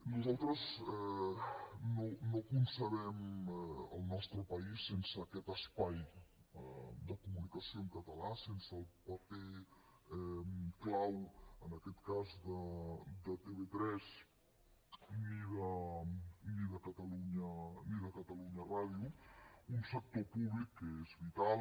nosaltres no concebem el nostre país sense aquest espai de comunicació en català sense el paper clau en aquest cas de tv3 ni de catalunya ràdio un sector públic que és vital